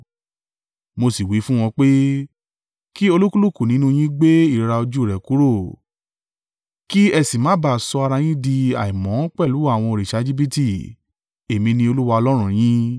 Mo sì wí fún wọn pé, “Kí olúkúlùkù nínú yín gbé ìríra ojú rẹ̀ kúrò, kí ẹ sì má bá sọ ara yín di àìmọ́ pẹ̀lú àwọn òrìṣà Ejibiti, èmi ni Olúwa Ọlọ́run yín.”